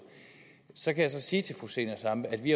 så kan jeg så sige til fru zenia stampe at vi